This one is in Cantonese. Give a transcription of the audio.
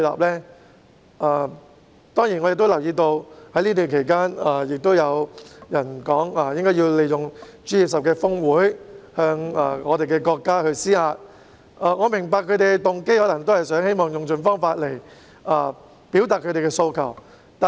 此外，我亦留意到在這段期間，有人表示要利用 G20 峰會向國家施壓，我明白他們的動機是想用盡方法來表達訴求。